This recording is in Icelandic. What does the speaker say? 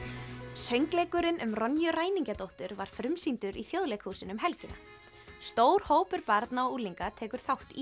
söngleikurinn um ræningjadóttur var frumsýndur í Þjóðleikhúsinu um helgina stór hópur barna og unglinga tekur þátt í